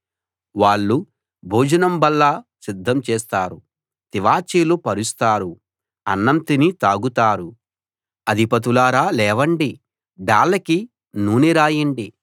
వాళ్ళు భోజనం బల్ల సిద్ధం చేస్తారు తివాచీలు పరుస్తారు అన్నం తిని తాగుతారు అధిపతులారా లేవండి డాళ్ళకి నూనె రాయండి